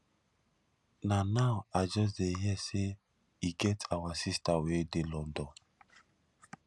na now i just dey hear say e get our sister wey dey london